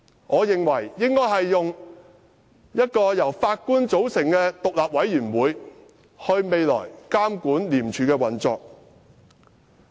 我認為未來應由一個由法官組成的獨立委員會監管廉署的運作。